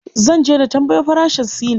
Zan je na tambayo farashin silin.